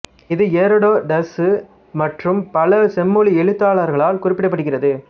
இது எரோடோட்டசு மறறும் பல செம்மொழி எழுத்தாளர்களார் குறிப்பிட படுகிறது